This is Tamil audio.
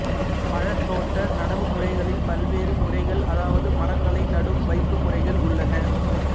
பழத் தோட்ட நடவுமுறைகளில் பல்வேறு முறைகள் அதாவது மரங்களை நடும் வைப்புமுறைகள் உள்ளன